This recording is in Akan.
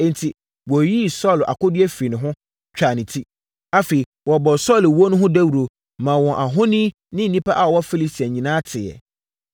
Enti, wɔyiyii Saulo akodeɛ firii ne ho, twaa ne ti. Afei wɔbɔɔ Saulo wuo no ho dawuro, maa wɔn ahoni ne nnipa a wɔwɔ Filistia nyinaa teeɛ.